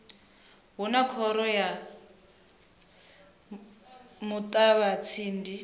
hu na khoro ya muṱavhatsindi